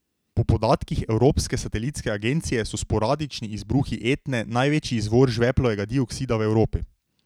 Po podatkih Evropske satelitske agencije so sporadični izbruhi Etne največji izvor žveplovega dioksida v Evropi.